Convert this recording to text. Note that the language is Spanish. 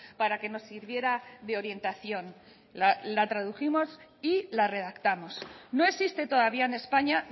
para que nos sirviera de orientación la tradujimos y la redactamos no existe todavía en españa